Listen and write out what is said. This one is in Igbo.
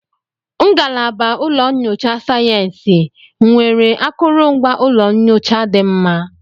Ngalaba ụlọ nyocha sayensị nwere akụrụngwa ụlọ nyocha dị mma?